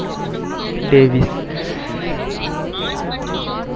Davis